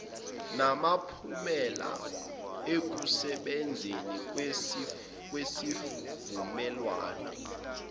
namphumela ekusebenzeni kwesivumelwan